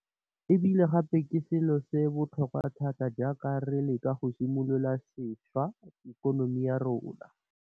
E bile gape ke selo sa botlhokwa thata jaaka re leka go ka simolola sešwa ikonomi ya rona.